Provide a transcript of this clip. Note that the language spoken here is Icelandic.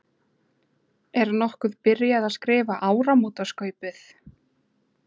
Er nokkuð byrjað að skrifa áramótaskaupið?